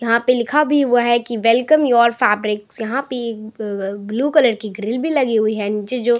यहाँ पे लिखा भी हुआ है कि वेलकम योर फैब्रिक्स यहाँ पे अ ब ब्लू कलर की ग्रिल भी लगी हुई है नीचे जो --